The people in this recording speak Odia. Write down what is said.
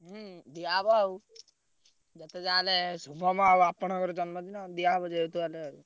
ହୁଁ ଦିଆ ହବ ଆଉ ଯେତେଯାହା ହେଲେ ଶୁଭମ ଆଉ ଆପଣଙ୍କର ଜନ୍ମଦିନ ଦିଆହବ ଯେହେତୁ ହେଲେ।